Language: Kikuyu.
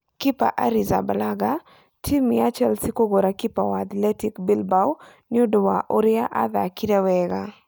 Kepa Arrizabalaga:Timu ya Chelsea kũgũra kipa wa Athletic Bilbao nĩ ũndũ wa ũria athakire wega